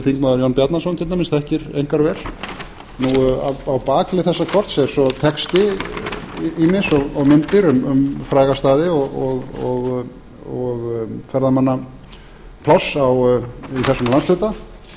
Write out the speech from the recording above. þingmaður jón bjarnason til dæmis þekkir einkar vel á bakhlið þessa kort er svo texti ýmis og myndir um fræga staði og ferðamannapláss í þessum landshluta þetta